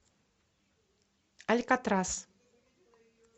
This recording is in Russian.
алькатрас